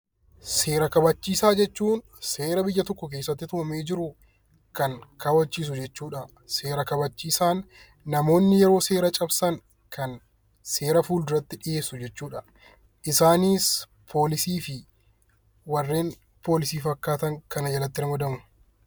Seera kabachiisaa jechuun seera biyya tokkoo kan kabachiisu jechuudha. Seera kabachiisaan namoonni yoo seera cabsan kan seera fuulduratti dhiyeessu jechuudha. Isaanis poolisii fi warreen poolisii fakkaatan kana jalatti ramadamu.